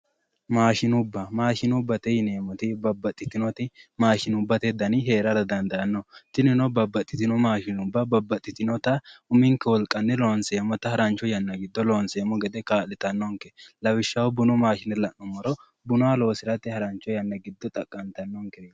Maashinubbate yineemmoti babbaxxitinoti maashinubbate dani heerara dandaanno tinino babbaxxitino maashinubba babbaxxitinota uminke wolqanni loonseemmota harancho yanna giddo loonseemmo gede kaa'litannonke lawishshaho bunu maashine la'nummoro buna loosirate harancho yanna giddo xaqqantannonkete